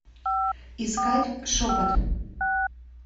искать шепот